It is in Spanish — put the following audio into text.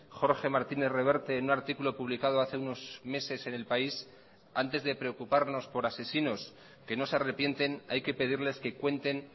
jorge martínez reverte en un articulo publicado hace unos meses en el país antes de preocuparnos por asesinos que no se arrepienten hay que pedirles que cuenten